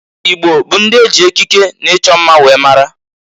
Igbo bụ ndị e ji ekiki na-ịchọ mma were mara.